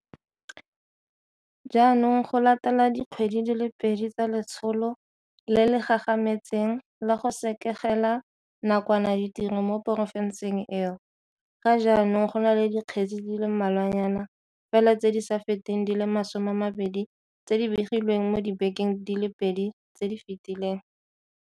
Jaanong, go latela dikgwedi di le pedi tsa letsholo le le gagametseng la go sekegela nakwana ditiro mo porofenseng eo, ga jaanong go na le dikgetse di le mmalwanyana fela tse di sa feteng di le 20 tse di begilweng mo dibekeng di le pedi tse di fetileng.